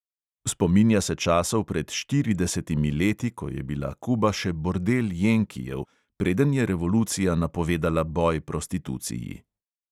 Spominja se časov pred štiridesetimi leti, ko je bila kuba še bordel jenkijev, preden je revolucija napovedala boj prostituciji.